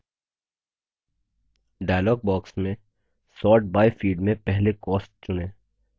dialog box में sort by field में पहले cost चुनें